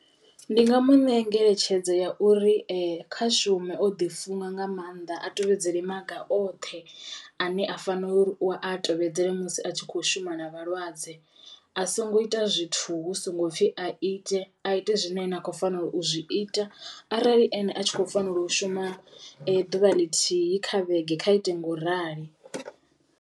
Ndi nga mu ṋea ngeletshedzo ya uri kha shume o ḓi funga nga mannḓa a tevhedzela maga oṱhe ane a fanela u a tevhedzela musi a tshi kho shuma na vhalwadze. A songo ita zwithu hu songo pfhi a ite a ite zwine a khou fanelo u zwi ita arali ane a tshi kho fanelo u shuma ḓuvha ḽithihi kha vhege kha ite ngauralo.